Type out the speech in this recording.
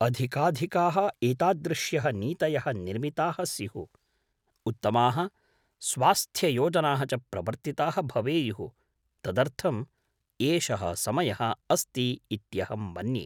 अधिकाधिकाः एतादृश्यः नीतयः निर्मिताः स्युः, उत्तमाः स्वास्थ्ययोजनाः च प्रवर्तिताः भवेयुः तदर्थम् एषः समयः अस्ति इत्यहं मन्ये।